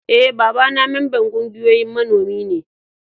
E,baba na memban ƙungiyan manomi ne.